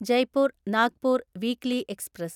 Jaipur Nagpur weekly express